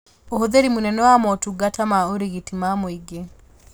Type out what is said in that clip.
Ũhũthĩri mũnene wa motungata ma ũrigiti ma mũingĩ